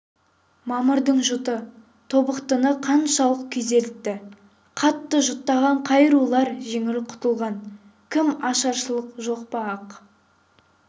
мамырдың жұты тобықтыны қаншалық күйзелтті қатты жұтаған қай рулар жеңіл құтылған кім ашаршылық жоқ па ақ